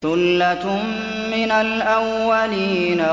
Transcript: ثُلَّةٌ مِّنَ الْأَوَّلِينَ